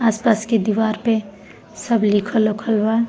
आसपास के दीवार पे सब लिखल-उखल बा।